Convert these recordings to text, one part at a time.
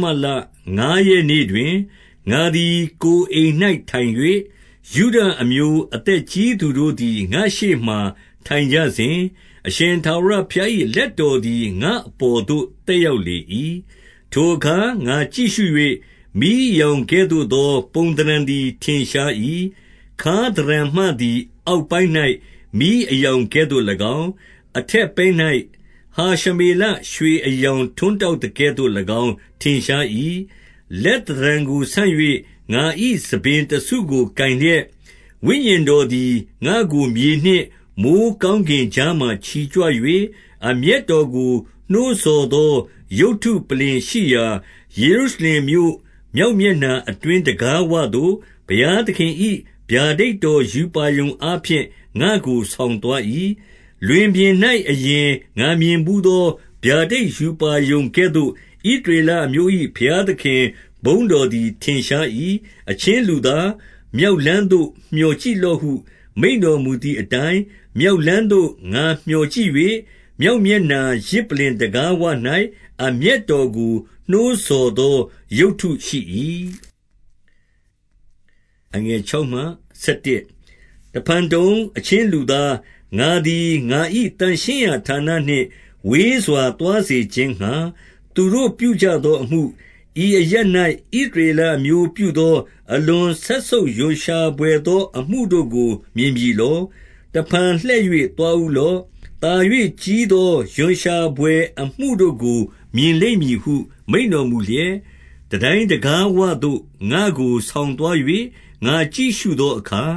မလ၊ ငါးရက်နေ့တွင်၊ ငါသည်ကိုယ် အိမ်၌ထိုင်၍၊ ယုဒအမျိုးအသက်ကြီးသူတို့ သည် ငါရှေ့မှာ ထိုင်ကြစဉ်၊ အရှင်ထာဝရဘုရား၏ လက်တော်သည် ငါ့အပေါ်သို့ သက်ရောက်လေ၏။ 2 ထိုအခါ ငါကြည့်ရှု၍၊ မီးအရောင်ကဲ့သို့သော ပုံသဏ္ဍာန်သည် ထင်ရှား၏။ ခါးသဏ္ဍာန်မှသည် အောက် ပိုင်း၌ မီးအရောင်ကဲ့သို့၎င်း၊ အထက်ပိုင်း၌ ဟရှမေလ ရွှေအရောင်ကဲ့သို့၎င်း ထင်ရှား၏။ 3 လက်သဏ္ဍာန်ကိုဆန့်၍ ငါ၏ဆံပင်တစုကို ကိုင်လျက်၊ ဝိညာဉ်တော်သည် ငါ့ကိုမြေနှင့်မိုဃ်းကောင်း ကင်ကြားမှာ ချီကြွ၍၊ အမျက်တော်ကို နှိုးဆော်သော ရုပ်တုပလ္လင်ရှိရာ ယေရုရှလင်မြို့မြောက်မျက်နှာအတွင်း တံခါးဝသို့၊ ဘုရားသခင်၏ဗျာဒိတ်တော်ရူပါရုံအားဖြင့် ငါ့ကိုဆောင်သွား၏။ 4 လွင်ပြင်၌ အရင်ငါမြင်ဘူးသော ဗျာဒိတ်ရူပါရုံ ကဲ့သို့၊ ဣသရေလအမျိုး၏ ဘုရားသခင်ဘုန်းတော်သည် ထင်ရှား၏။ 5 အချင်းလူသား၊ မြောက်လမ်းသို့ မျှော်ကြည့် လော့ဟု မိန့်တော်မူသည်အတိုင်း၊ မြောက်လမ်းသို့ ငါမျှော်ကြည့်၍၊ မြောက်မျက်နှာ၊ ယဇ်ပလ္လင်တံခါးဝ၌ အမျက်တော်ကို နှိုးဆော်သော် ရုပ်တုရှိ၏။ 6 တဖန်တုံ၊ အချင်းလူသား၊ ငါသည် ငါ၏ သန့်ရှင်းရာဌာနနှင့် ဝေးစွာသွားစေခြင်းငှါ သူတို့ပြုကြ သောအမှု၊ ဤအရပ်၌ ဣသရေလအမျိုးပြုသော၊ အလွန် စက်ဆုပ်ရွံ့ရှာဘွယ်သော အမှုတို့ကို မြင်ပြီလော။ တဖန် လှည့်၍သွားဦးလော့။ သာ၍ကြီးသော ရွံရှာဘွယ် အမှု တို့ကို မြင်လိမ့်မည်ဟု မိန့်တော်မူလျက်၊ 7 တန်တိုင်းတံခါးဝသို့ ငါ့ကိုဆောင်သွား၍ ငါ ကြည့်ရှုသောအခါ၊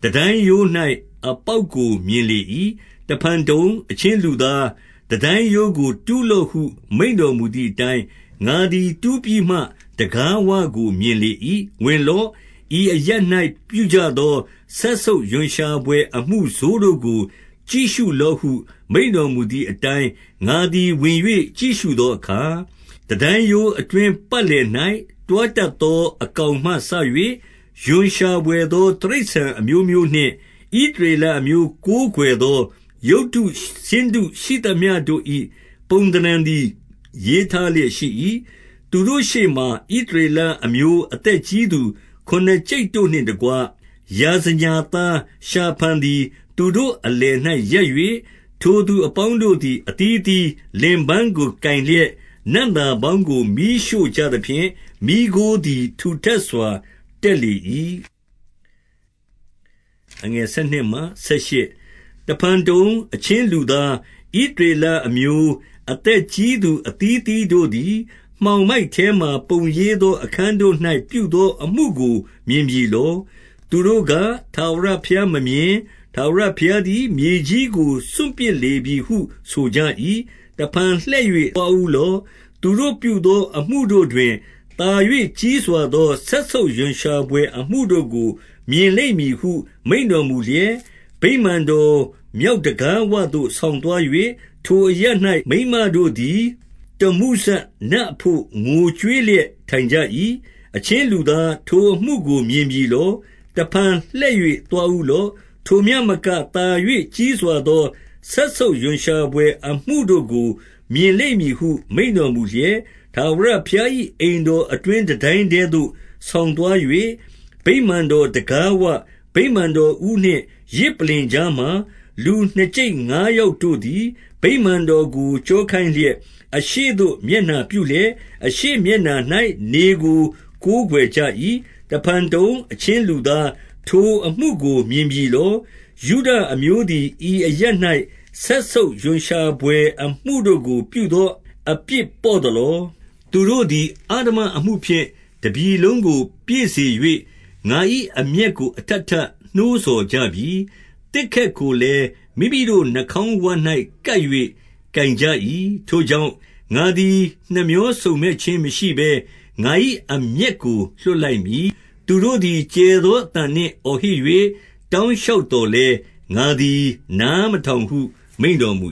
တန်တိုင်းရိုး၌ အပေါက်ကို မြင်လေ ၏။ 8 တဖန်တုံအချင်းလူသား၊ တန်တိုင်းရိုးကို တူးလော့ဟု မိန့်တော်မူသည်အတိုင်း၊ ငါသည်တူးပြီးမှ တံခါးဝကို မြင်လေ၏။ 9 ဝင်လော့။ ဤအရပ်၌ ပြုကြသော စက်ဆုပ်ရွံ့ရှာဘွယ် အမှုဆိုးတို့ကို ကြည့်ရှုလော့ဟု မိန့်တော်မူသည်အတိုင်း၊ 10 ငါသည် ဝင်၍ကြည့်ရှုသောအခါ၊ တန်တိုင်းရိုး အတွင်းပတ်လည်၌၊ တွားတတ်သော အကောင်မှစ၍ ရွံ့ရှာဘွယ်သော တိရစ္ဆာန်အမျိုးမျိုးနှင့် ဣသရေလအမျိုး ကိုးကွယ်သော ရုပ်တုဆင်းတုရှိသမျှတို့၏ ပုံသဏ္ဌာန်သည် ရေးထားလျက်ရှိ၏။ 11 သူတို့ရှေ့မှာ ဣသရေလအမျိုးအသက်ကြီးသူ ခုနှစ်ကျိပ်တို့နှင့်တကွ၊ ယာဇညာသားရှာဖန်သည် သူတို့ အလယ်၌ရပ်၍၊ ထိုသူအပေါင်းတို့သည် အသီးအသီး လင်ပန်းကို ကိုင်လျက်၊ နံ့သာပေါင်းကို မီးရှို့ကြသဖြင့်၊ မီးခိုးသည် ထူထပ်စွာတက်လေ၏။ 12 တဖန်တုံ၊ အချင်းလူသား၊ ဣသရေလအမျိုး အသက်ကြီးသူ အသီးအသီးတို့သည် မှောင်မိုက်ထဲမှာ ပုံရေးသော အခန်းတို့၌ ပြုသောအမှုကိုမြင်ပြီလော။ သူတို့က၊ ထာဝရဘုရားမမြင်။ ထာဝရဘုရားသည် မြေကြီးကို စွန့်ပစ်လေပြီဟု ဆိုကြ၏။ 13 တဖန်လှည့်၍ သွားဦးလော့။ သူတို့ပြုသော အမှုတို့တွင် သာ၍ကြီးစွာသော စက်ဆုပ်ရွံ့ရှာဘွယ် အမှုတို့ကို မြင်လိမ့်မည်ဟု မိန့်တော်မူလျက်၊ 14 ဗိမာန်တော်မြောက်တံခါးဝသို့ ဆောင်သွား၍၊ ထိုအရပ်၌ မိန်းမတို့သည် တမ္မုဇနတ်အဘို့ ငိုကြွေးလျက် ထိုင်ကြ၏။ 15 အချင်းလူသား၊ ထိုအမှုကိုမြင်ပြီလော။ တဖန် လှည့်၍သွားဦးလော့။ ထိုမျှမက သာ၍ကြီးစွာသော စက်ဆုပ်ရွံ့ရှာဘွယ်အမှုတို့ကို မြင်လိမ့်မည်ဟု မိန့်တော် မူလျက်၊ 16 ထာဝရဘုရား၏အိမ်တော်အတွင်း တန်တိုင်းထဲ သို့ ဆောင်သွား၍၊ ဗိမာန်တော်တံခါး၊ ဗိမာန်တော်ဦးနှင့် ယဇ်ပလ္လင်ကြားမှာ၊ လူနှစ်ကျိပ်ငါးယောက်တို့သည် ဗိမာန်တော်ကို ကျောခိုင်းလျက်၊ အရှေ့သို့မျက်နှာ ပြုလျက်၊ အရှေ့မျက်နှာ၌ နေကို ကိုးကွယ်ကြ၏။ 17 တဖန်တုံ၊ အချင်းလူသား၊ ထိုအမှုကို မြင်ပြီ လော။ ယုဒအမျိုးသည် ဤအရပ်၌ စက်ဆုပ်ရွံ့ရှာဘွယ် အမှုတို့ကို ပြုသောအပြစ်ပေါ့သလော။ သူတို့သည် အဓမ္မ မှုဖြင့် တပြည်လုံးကို ပြည့်စေ၍ ငါ၏အမျက်ကို အထပ် ထပ်နှိုးဆော်ကြပြီ။ သစ်ခက်ကိုလည်း မိမိတို့နှာခေါင်းဝ၌ ကပ်၍တိုင်ကြ၏။ 18 ထိုကြောင့်၊ ငါသည် နှမြောစုံမက်ခြင်းမရှိဘဲ ငါ၏အမျက်ကို လွှတ်လိုက်မည်။ သူတို့သည် ကျယ်သော အသံနှင့်အော်ဟစ်၍ တောင်းလျှောက်သော်လည်း၊ ငါသည် နားမထောင်ဟု မိန့်တော်မူ